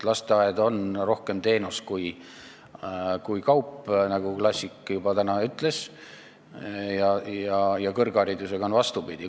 Lasteaed on rohkem teenus kui kaup, nagu klassik juba täna ütles, ja kõrgharidusega on vastupidi.